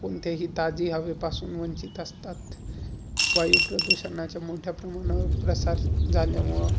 कोणत्याही ताज्या हवेपासून वंचित असतात, वायुप्रदुषणाच्या मोठ्या प्रमाणावर प्रसार झाल्यामुळे